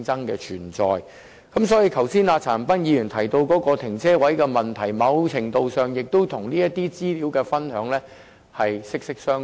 因此，剛才陳恒鑌議員提到泊車位的問題，在某程度上亦與資料分享息息相關。